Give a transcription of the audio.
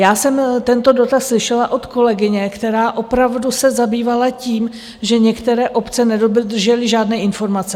Já jsem tento dotaz slyšela od kolegyně, která opravdu se zabývala tím, že některé obce neobdržely žádné informace.